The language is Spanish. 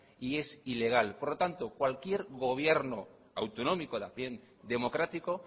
y es ilegal por lo tanto cualquier gobierno autonómico también democrático